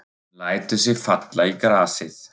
Hún lætur sig falla í grasið.